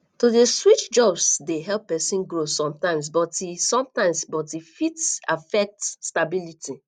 to dey switch jobs dey help pesin grow sometimes but e sometimes but e fit affect stability